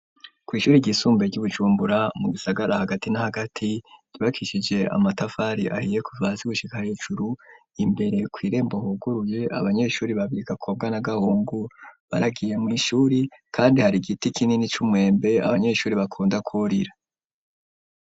Kw’ishuri ryisumbuye , ry'i Bujumbura, mu gisagara hagati na hagati; ryubakishije amatafari ahiye, kuva hasi gushika hejuru; imbere kw’irembo huguruye, abanyeshuri babiri, Gakobwa na Gahungu, baragiye mw’ishuri, kandi hari igiti kinini, c'umwembe, abanyeshuri bakunda kwurira.